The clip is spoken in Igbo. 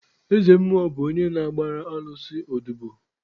Eze mmụọ bụ onye na-agbara alụsị odobo.